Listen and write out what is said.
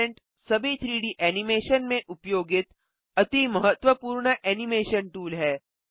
parent सभी 3डी animation में उपयोगित अति महत्वपूर्ण एनिमेशन टूल है